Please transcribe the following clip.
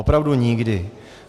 Opravdu nikdy.